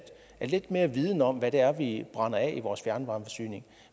lidt mere viden om hvad det er vi brænder af i vores fjernvarmeforsyning